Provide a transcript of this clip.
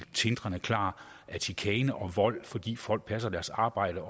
tindrende klart at chikane og vold fordi folk passer deres arbejde